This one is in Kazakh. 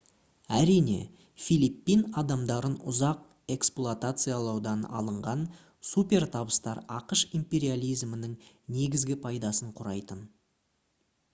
әрине филиппин адамдарын ұзақ эксплуатациялаудан алынған супертабыстар ақш империализмінің негізгі пайдасын құрайтын